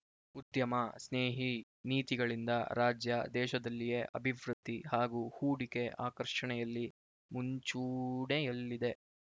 ಉದ್ಯಮ ಸ್ನೇಹಿ ನೀತಿಗಳಿಂದ ರಾಜ್ಯ ದೇಶದಲ್ಲಿಯೇ ಅಭಿವೃದ್ಧಿ ಹಾಗೂ ಹೂಡಿಕೆ ಆಕರ್ಷಣೆಯಲ್ಲಿ ಮುಂಚೂಡೆಯಲ್ಲಿದೆ